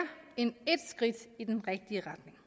end ét skridt i den rigtige retning